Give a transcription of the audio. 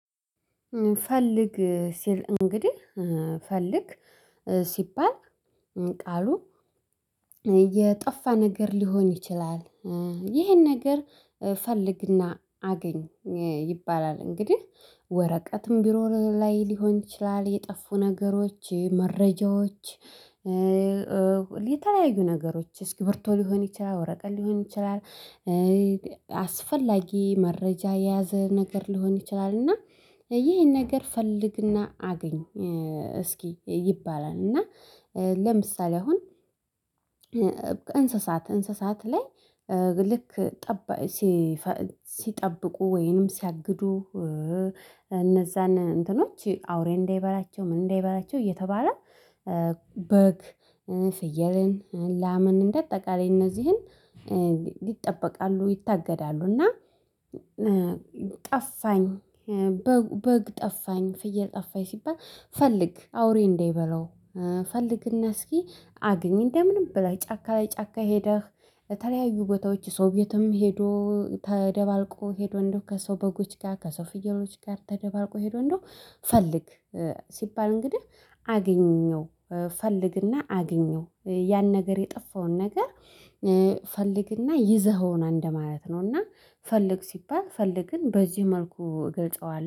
ፈልግ ሲል እንግዲህ ፈልግ ሲባል ቃሉ የጠፋ ነገር ሊሆን ይችላል። ይሄን ነገር ፈልግና አገኝ ይባላል። እንግዲህ ወረቀትም ቢሮ ላይ ሊሆን ይችላል የጠፉ ነገሮች መረጃዎች። የተለያዩ ነገሮች እስክርቢቶ ሊሆን ይችላል ወረቀት ሊሆን ይችላል። አስፈላጊ መረጃ የያዘ ነገር ሊሆን ይችላል። እና ይህን ነገር ፈልግና አግኝ እስኪ ይባላል። እና ለምሳሌ አሁን እንስሳት እንስሳት ላይ ልክ ጠባይ ሲጠብቁ ወይንም ሲያግዱ። እነዛን እንትኖች አውሬ እንዳይበላቸው ምን እንዳይበላቸው እየተባለ። በግ ፍየልን ላምን እንደ አጠቃላይ እነዚህን ይጠበቃሉ ይታገዳሉ። እና ጠፋኝ በግ ጠፋኝ ፍየል ጠፋኝ ሲባል ፈልግ አውሬ እንዳይበላው ፈልግና እስኪ አግኝ። እንደምንም ብላ ጫካ ለ ጫካ ሄደህ የተለያዩ ቦታዎች ሰውቤትም ሄዶ ተደባልቆ ሄዶ እንደው ከሰው በጎች ጋር ከሰው ፍየሎች ጋር ተደባርቆ ሄዶ እንደው ፈልግ ሲባል እንግዲህ አገኘው ፈልግና አግኘው ያን ነገር የጠፋውን ነገር። ፈልግና ይዘኸውና እንደማያት ነው እና ፈልግ ሲባል ፈልግን በዚህ መልኩ እገልጸዋለሁ